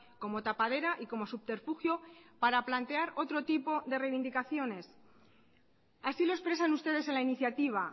como tapadera y como subterfugio para plantear otro tipo de reivindicaciones así lo expresan ustedes en la iniciativa